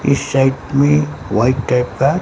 इस साइड में white type का--